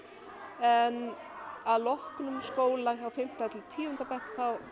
en að loknum skóla hjá fimmta til tíunda bekk